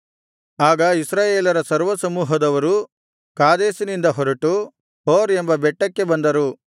ಆಗ ಇಸ್ರಾಯೇಲರ ಸರ್ವಸಮೂಹದವರು ಕಾದೇಶಿನಿಂದ ಹೊರಟು ಹೋರ್ ಎಂಬ ಬೆಟ್ಟಕ್ಕೆ ಬಂದರು